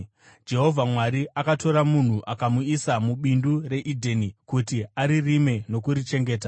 Jehovha Mwari akatora munhu akamuisa mubindu reEdheni kuti aririme nokurichengeta.